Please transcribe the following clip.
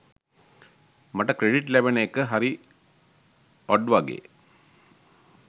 මට ක්‍රෙඩිට් ලැබෙන එක හරි ඔඩ් වගේ.